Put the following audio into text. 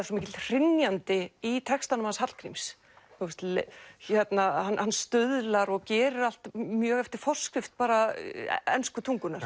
svo mikill hrynjandi í textanum hans Hallgríms hann hann stuðlar og gerir allt mjög eftir forskrift bara ensku tungunnar